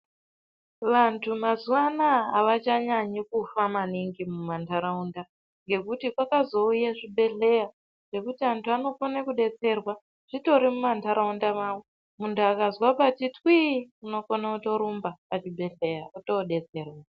Vantu mazuwa anaya avachanyanyi kufa maningi mumantaraunda ngekuti kwakazouya zvibhedhleya zvekuti vanokone kudetserwa zvitori muma ndaraunda mavo . Muntu akanzwa pati twi-i unokone kutorumba pachibhedhleya otodetserwa.